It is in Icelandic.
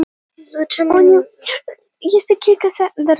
Jóhanna Margrét: Sindri, hvað heldurðu að þú sért búinn að skera margar bollur?